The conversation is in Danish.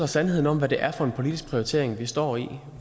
sandheden om hvad det er for en politisk prioritering vi står i